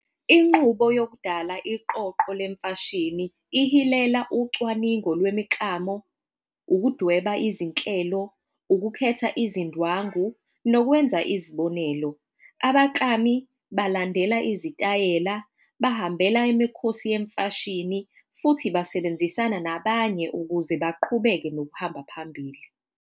Inqubo yokudala iqoqo lemfashini ucwaningo lwemiklamo, ukudweba izinhlelo, ukukhetha izindwangu, nokwenza izibonelo. Abaklami balandela izitayela, bahambela imikhosi yemfashini, futhi basebenzisana nabanye ukuze baqhubeke nokuhamba phambili.